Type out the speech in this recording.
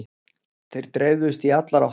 Þeir dreifðust í allar áttir.